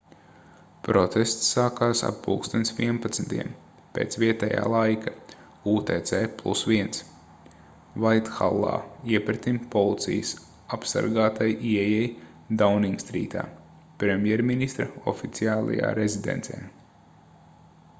protests sākās ap plkst. 11:00 pēc vietējā laika utc+1 vaithallā iepretim policijas apsargātai ieejai dauningstrītā premjerministra oficiālajā rezidencē